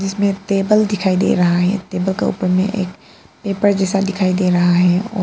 इसमें टेबल दिखाई दे रहा है टेबल का ऊपर मे एक पेपर जैसा दिखाई दे रहा है और--